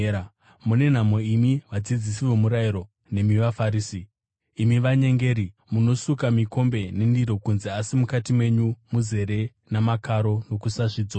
“Mune nhamo imi vadzidzisi vomurayiro nemi vaFarisi, imi vanyengeri! Munosuka mikombe nendiro kunze asi mukati menyu muzere namakaro nokusazvidzora.